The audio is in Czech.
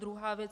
Druhá věc.